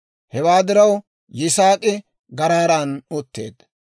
Hewaa diraw Yisaak'i Garaaran utteedda.